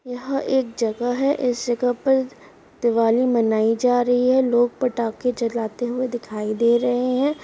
यहा एक जगह है। और इस जगह पे दिवाली मनाई जा रही है लोग पटाके जलाते हुए दिखाई दे रहे हैं।